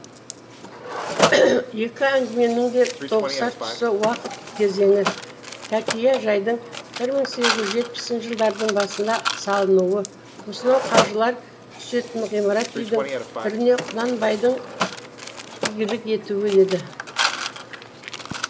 екі әңгіменің де тоғысар тұсы уақыт кезеңі тәкия жайдың бір мың сегіз жүз жетпісінші жылдардың басында салынуы осынау қажылар түсетін ғимарат үйдің біріне құнанбайдың игілік етуі еді